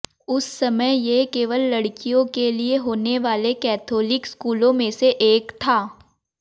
उस समय ये केवल लड़कियों के लिये होने वाले कैथोलिक स्कूलों में से एक था